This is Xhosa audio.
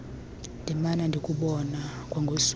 ndimana ndikubona kwangosuku